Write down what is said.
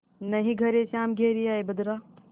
नाहीं घरे श्याम घेरि आये बदरा